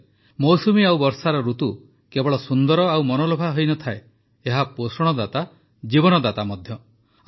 ସତରେ ମୌସୁମୀ ଓ ବର୍ଷାର ଋତୁ କେବଳ ସୁନ୍ଦର ଓ ମନଲୋଭା ହୋଇନଥାଏ ଏହା ପୋଷଣଦାତା ଜୀବନଦାତା ମଧ୍ୟ